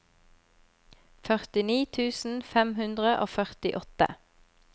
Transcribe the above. førtini tusen fem hundre og førtiåtte